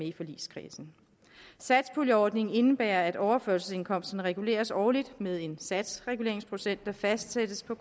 i forligskredsen satspuljeordningen indebærer at overførselsindkomsterne reguleres årligt med en satsreguleringsprocent der fastsættes på